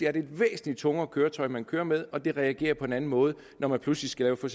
er det et væsentlig tungere køretøj man kører med og det reagerer på en anden måde når man pludselig skal lave for